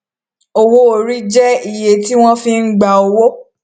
owó orí jẹ iye tí wọn fi gba owó